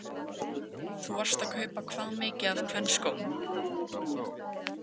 Karen Kjartansdóttir: Þú varst að kaupa hvað mikið af kvenskóm?